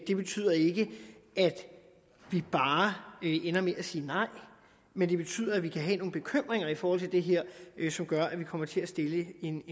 det betyder ikke at vi bare ender med at sige nej men det betyder at vi kan have nogle bekymringer i forhold til det her som gør at vi kommer til at stille en